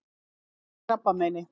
Hún lést úr krabbameini.